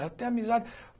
Eu tenho amizade.